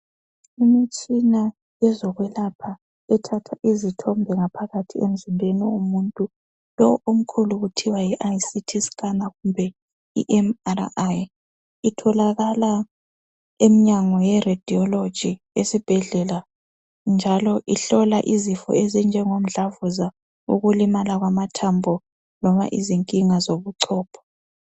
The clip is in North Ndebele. Imitshina yezokwelapha ethatha izithombe ngaphakathi emzimbeni womuntu. Lowo omkhulu kuthwa yi ICT scanner kumbe iMRI.Itholakala emnyango ye Radiology esibhedlela njalo ihlola izifo ezinjengo mdlavuza, ukulimala kwamathambo noma izinkinga zobuchopho.